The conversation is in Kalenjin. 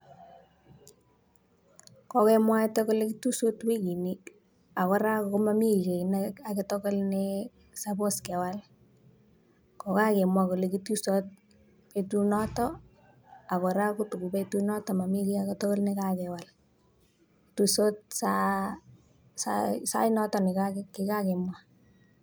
Kokemwaita kole kitusot wikini ak kora komami ki ne agetugul ne suppose kewal. Ko kakemwa kole kitusot betunoto agora kota ko betunotok mami ki age tugul ne kakewal. Tusot sait notok ne kikagemwa.